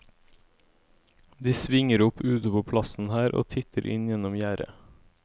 De svinger opp ute på plassen her og titter inn gjennom gjerdet.